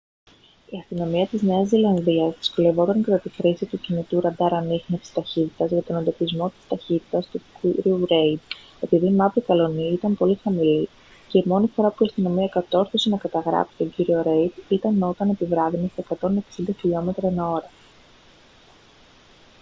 η αστυνομία της νέας ζηλανδίας δυσκολεύονταν κατά τη χρήση του κινητού ραντάρ ανίχνευσης ταχύτητας για τον εντοπισμό της ταχύτητας του κ. ρέιντ επειδή η μαύρη καλλονή ήταν πολύ χαμηλή και η μόνη φορά που η αστυνομία κατόρθωσε να καταγράψει τον κ. ρέιντ ήταν όταν επιβράδυνε στα 160km/h